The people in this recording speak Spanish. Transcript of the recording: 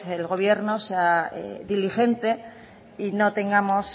el gobierno sea diligente y no tengamos